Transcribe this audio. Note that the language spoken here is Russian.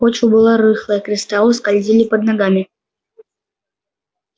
почва была рыхлая кристаллы скользили под ногами